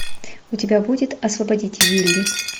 у тебя будет освободите вилли